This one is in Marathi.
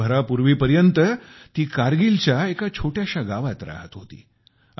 वर्षभरापूर्वीपर्यंत ती कारगिलच्या एका छोट्याशा गावात राहत होती